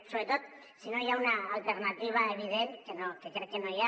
sobretot si no hi ha una al·ternativa evident que crec que no n’hi ha